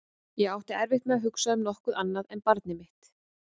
Ég átti erfitt með að hugsa um nokkuð annað en barnið mitt.